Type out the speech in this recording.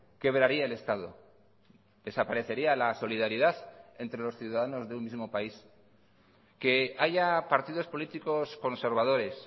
quebraría el estado desaparecería la solidaridad entre los ciudadanos de un mismo país que haya partidos políticos conservadores